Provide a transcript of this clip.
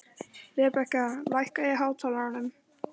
Rebekka, lækkaðu í hátalaranum.